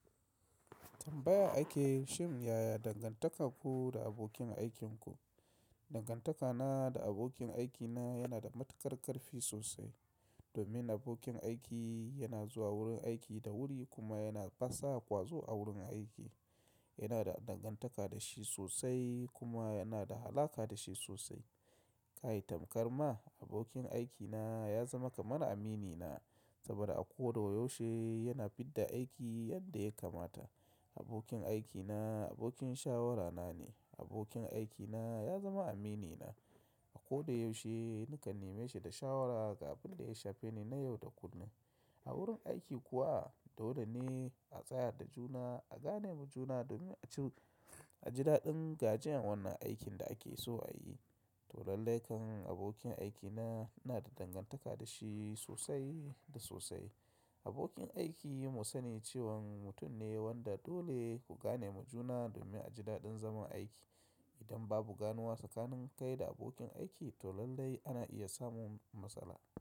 Tambaya ake, shim yaya dangantaka ku da abokin aikinku? Dangantaka na da abokin aiki na yana da matuƙar ƙarfi sosai. Domin abokin aiki yana zuwa wurin aiki da wuri kuma yana ƙasa ƙwazo a wurin aiki. Yana da dangantaka da shi sosai kuma yana da alaƙa da shi sosai. Kai tamkar ma, abokin aikina ya zama kamar aminina saboda a ko da yaushe yana fidda aiki yadda ya kamata. Abokin aikina abokin shawarana ne. Abokin aikina ya zama aminina. A ko da yaushe nakan neme shi da shawara ga abinda ya shafe ni na yau da kullum. A wurin aiki kuwa dole ne a tsaya da juna, a gane ma juna domin a ji daɗin gajiyan wannan aikin da ake so a yi. To lallai kan abokin aiki na ina da dangantaka da shi sosai da sosai. Abokin aiki mu sani cewan mutum ne wanda dole ku gane ma juna domin a ji daɗin zaman aiki. Idan babu ganuwa tsakanin kai da abokin aiki to lallai ana iya samun matsala.